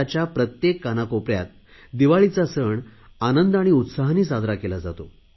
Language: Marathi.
भारताच्या प्रत्येक कानाकोपऱ्यात दिवाळीचा सण आनंद आणि उत्साहाने साजरा केला जातो